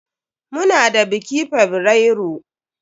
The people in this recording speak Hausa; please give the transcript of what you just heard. Muna da biki fabrairu.